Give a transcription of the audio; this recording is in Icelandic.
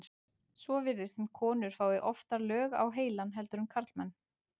svo virðist sem konur fái oftar lög á heilann heldur en karlmenn